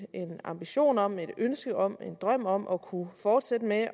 en ambition om et ønske om en drøm om at kunne fortsætte med